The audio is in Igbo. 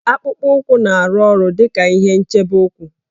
Akpụkpọ ụkwụ na-arụ ọrụ dị ka ihe nchebe ụkwụ